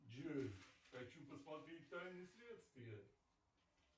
джой хочу посмотреть тайны следствия